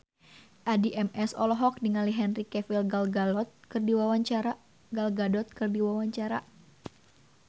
Addie MS olohok ningali Henry Cavill Gal Gadot keur diwawancara